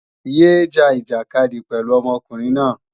Yé é ja ìjàkadì pẹ̀lú ọmọkùnrin náà!